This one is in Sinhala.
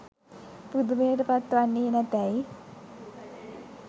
පුදුමයට පත්වන්නේ නැතැයි